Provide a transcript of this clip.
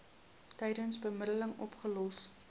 tydens bemiddeling opgelos